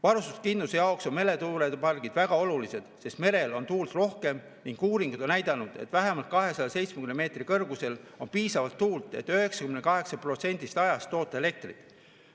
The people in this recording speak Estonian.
Varustuskindluse jaoks on meretuulepargid väga olulised, sest merel on tuult rohkem ning uuringud on näidanud, et vähemalt 270 meetri kõrgusel on piisavalt tuult, et 98% ajast toota elektrit.